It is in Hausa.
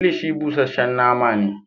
Kilishi busashen nama ne.